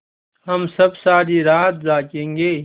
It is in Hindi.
हम सब सारी रात जागेंगे